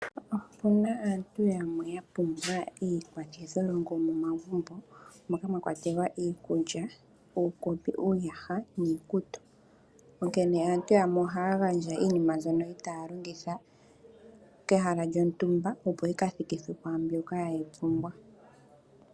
Opuna aantu yamwe mboka ya pumbwa iikwathitholongo momagumbo moka mwa kwatelwa iikulya, uukopi , iiyaha niikutu, onkene aantu yamwe ohaya gandja iinima mbyoka itaa longitha kehala lyontumba opo yika thikithwe kwaamboka yeyi pumbwa.